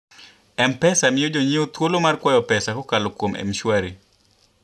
M-Pesa miyo jonyiewo thuolo mar kwayo pesa kokalo kuom M-Shwari.